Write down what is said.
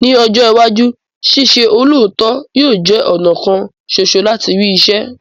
Ní ọjọ́ iwájú, ṣíṣe olóòótọ yóò jẹ́ ọ̀nà kan soso láti rí iṣẹ́